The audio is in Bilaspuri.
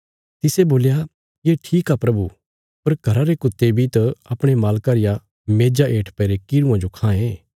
तिसे बोल्या ये ठीक आ प्रभु पर घरा रे कुत्ते बी त अपणे मालका रिया मेज़ा हेठ पैईरे किरुआं जो खांये